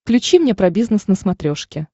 включи мне про бизнес на смотрешке